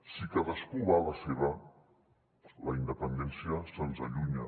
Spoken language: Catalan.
si cadascú va a la seva la independència se’ns allunya